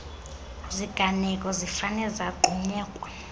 ziganeko zifane zagxunyekwa